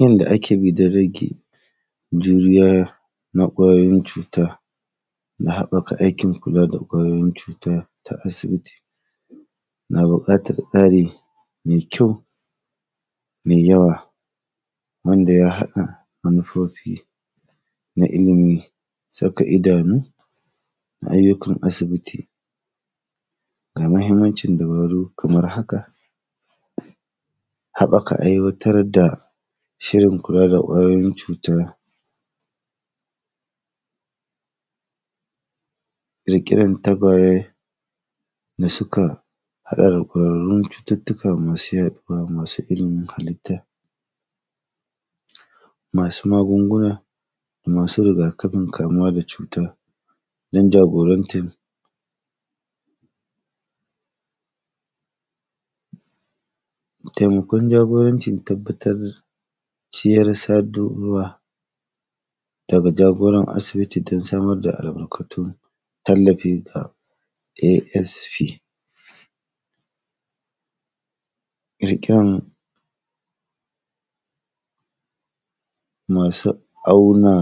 Yanda ake bi dan rage juriya na ƙwayoyin cuta, na haƃƃaka aikin kula da ƙwayoyin cuta ta asibiti, na biƙatar tsari me kyau, me yawa wanda ya haɗa manufofi na ilimi, saka idanu, ayyukan asibiti. Ga mahimmancin dabaru kamar haka, haƃaka aiwatar da shirin kula da ƙwayoyin cuta, ƙirƙiran tagwaye da suka haɗa da ɗawainiyar cututtuka masu yaɗuwa masu, masu ilimin halitta, masu magunguna, masu riga-kafin kam, uwa da cuta dan jagorantan temakon jagorancin tabbatar ciyar sadur ruwa daga jagoran asibiti don samar da albarkatun tallafi ga “ASP”, rikyon masu auna,